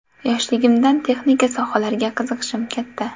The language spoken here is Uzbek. Yoshligimdan texnika sohalariga qiziqishim katta.